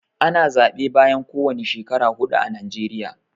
Ana zaɓe bayan kowani shekara huɗu a najeriya.